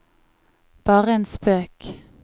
bare en spøk